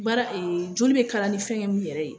Baara joli bɛ kalan ni fɛŋɛ mun yɛrɛ ye